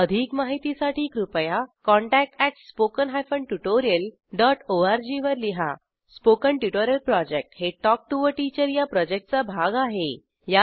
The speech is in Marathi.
अधिक माहितीसाठी कृपया contact at spoken hyphen tutorial dot ORG वर लिहा स्पोकन ट्युटोरियल प्रॉजेक्ट हे टॉक टू टीचर या प्रॉजेक्टचा भाग आहे